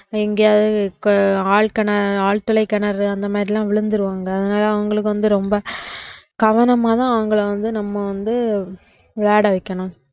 எங்கயாவது ஆழ்கிண~ ஆழ்துளை கிணறு அந்த மாதிரி எல்லாம் விழுந்துருவாங்க அதனால அவங்களுக்கு வந்து ரொம்ப கவனமாதான் அவங்கள வந்து நம்ம வந்து விளையாட வைக்கணும்